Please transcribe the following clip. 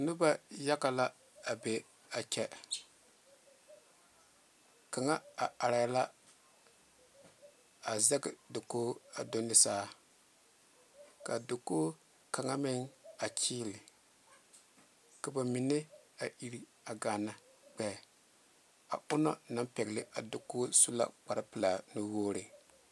Noba yaga la a be a kyɛ kaŋa a are la a zage dakogi a do ne saa kaa dakogi kaŋa meŋ a kyile ka ba mine a iri a gaana gbeɛ a onaŋ naŋ pegle a dakogi su la kpare pelaa nu wogre.